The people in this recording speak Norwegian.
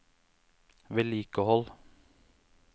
vedlikehold